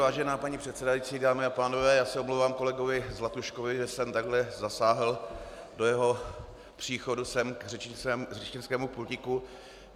Vážená paní předsedající, dámy a pánové, já se omlouvám kolegovi Zlatuškovi, že jsem takhle zasáhl do jeho příchodu sem k řečnickému pultíku.